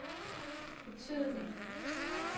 betydelig